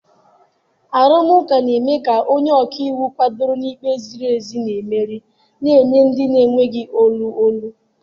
Arụmụka na-eme ka onye ọka iwu kwadoro na ikpe ziri ezi na-emeri, na-enye ndị na-enweghị olu olu.